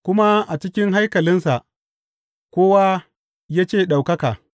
Kuma a cikin haikalinsa kowa ya ce, Ɗaukaka!